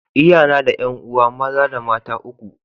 l yana da 'yan'uwa maza da mata uku.